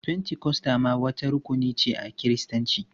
Fentikosta ma wata rukuni ce a Kiristanci.